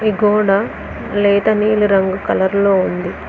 ఈ గోడ లేత నీలి రంగు కలర్ లో ఉంది.